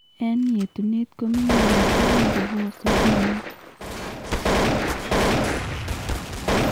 Eng' yeetuneet komingintu ak kobosok mook